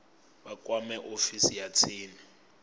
vha kwame ofisi ya tsini